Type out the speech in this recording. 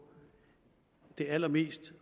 de allerbedste